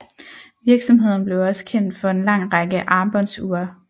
Virksomheden blev også kendt for en lang række armbåndsure